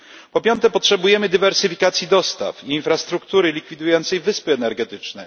Po piąte, potrzebujemy dywersyfikacji dostaw, infrastruktury likwidującej wyspy energetyczne.